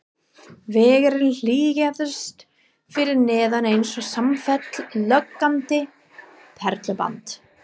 Vegurinn hlykkjaðist fyrir neðan eins og samfellt logandi perluband.